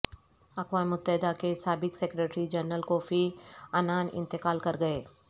اقوام متحدہ کے سابق سیکرٹری جنرل کوفی عنان انتقال کر گئے